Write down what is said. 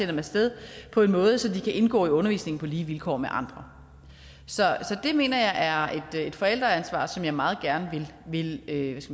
dem af sted på en måde så de kan indgå i undervisningen på lige vilkår med andre så det mener jeg er et forældreansvar som jeg meget gerne vil